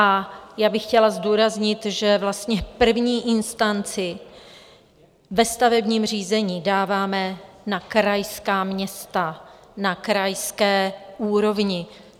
A já bych chtěla zdůraznit, že vlastně první instanci ve stavebním řízení dáváme na krajská města na krajské úrovni.